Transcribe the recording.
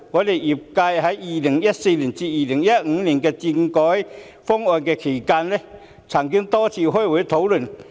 在2014年至2015年的政改諮詢期間，我們業界曾多次開會討論。